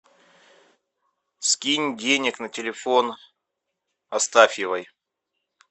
скинь денег на телефон астафьевой